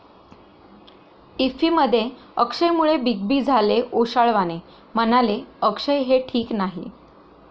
इफ्फीमध्ये अक्षयमुळे Big B झाले ओशाळवाणे, म्हणाले, अक्षय हे ठीक नाही!